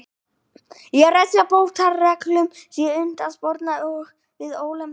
og refsi og bótareglum sé unnt að sporna við ólögmætum ráðstöfunum hluthafa með fullnægjandi hætti.